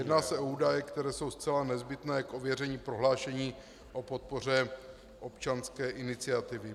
Jedná se o údaje, které jsou zcela nezbytné k ověření prohlášení o podpoře občanské iniciativy.